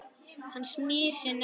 Hún smyr sér nesti.